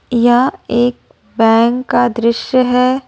यह एक बैंक का दृश्य है।